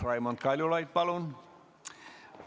Raimond Kaljulaid, palun!